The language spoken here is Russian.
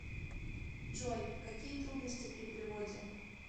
джой какие трудности при переводе